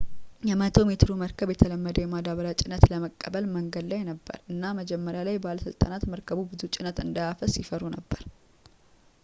የ 100-ሜትሩ መርከብ የተለመደውን የማዳበሪያ ጭነት ለመቀበል መንገድ ላይ ነበር እና መጀመሪያ ላይ ባለስልጣናት መርከቡ ብዙ ጭነት እንዳያፈስ ይፈሩ ነበር